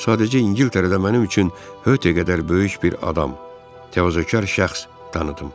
Sadəcə İngiltərədə mənim üçün höte qədər böyük bir adam, təvazökar şəxs tanıdım.